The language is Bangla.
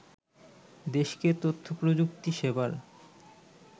দেশকে তথ্যপ্রযুক্তি সেবার